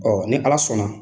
Ɔ ni ala sɔnna